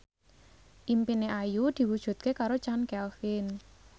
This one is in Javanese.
impine Ayu diwujudke karo Chand Kelvin